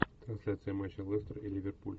трансляция матча лестер и ливерпуль